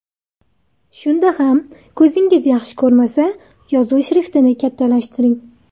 Shunda ham ko‘zingiz yaxshi ko‘rmasa, yozuv shriftini kattalashtiring.